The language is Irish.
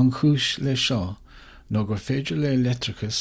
an chúis leis seo ná gur féidir le leictreachas